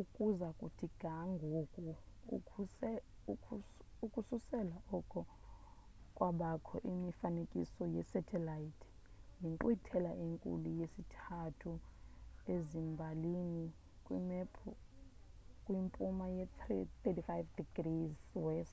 ukuza kuthi ga ngoku ukususela oko kwabakho imifanekiso ye-satelite yinkqwithela enkulu yesithathu ezimbalini kwimpuma 35°w